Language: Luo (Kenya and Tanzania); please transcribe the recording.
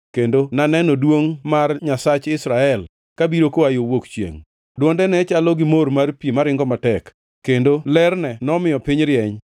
kendo naneno duongʼ mar Nyasach Israel kabiro koa yo wuok chiengʼ. Dwonde ne chalo gi mor mar pi maringo matek, kendo lerne nomiyo piny rieny.